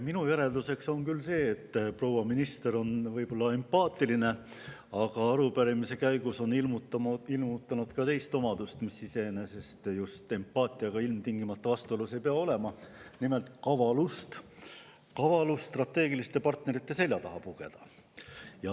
Minu järeldus on see, et proua minister võib küll olla empaatiline, aga arupärimise käigus on ta ilmutanud ka teist omadust, mis iseenesest ei pea ilmtingimata empaatiaga vastuolus olema, nimelt kavalust – kavalust pugeda strateegiliste partnerite selja taha.